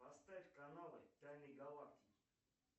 поставь каналы тайны галактики